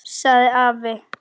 Það sagði afi.